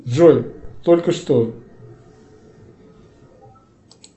джой только что